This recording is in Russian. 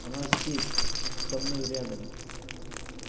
она здесь со мной рядом